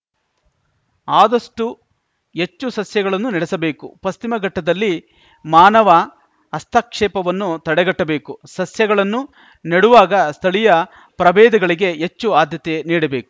ಆದಷ್ಟುಎಚ್ಚು ಸಸ್ಯಗಳನ್ನು ನೆಡಬೇಕು ಪಶ್ಚಿಮ ಘಟ್ಟದಲ್ಲಿ ಮಾನವ ಹಸ್ತಕ್ಷೇಪವನ್ನು ತಡೆಗಟ್ಟಬೇಕು ಸಸ್ಯಗಳನ್ನು ನೆಡುವಾಗ ಸ್ಥಳೀಯ ಪ್ರಭೇದಗಳಿಗೆ ಎಚ್ಚು ಆದ್ಯತೆ ನೀಡಬೇಕು